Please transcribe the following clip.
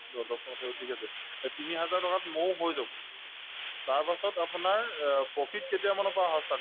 দ‍‍ দস্তোৰমতে ঠিক আছে এহ্ তিনিহাজাৰ টকাত মৌ হৈ যাব তাৰপাছত আপোনাৰ অ profit কেতিয়ামানৰ পৰা start